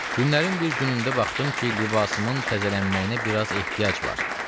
Günlərin bir günündə baxdım ki, libasımın təzələnməyinə biraz ehtiyac var.